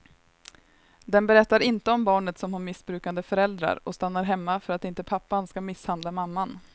Den berättar inte om barnet som har missbrukande föräldrar och stannar hemma för att inte pappan ska misshandla mamman.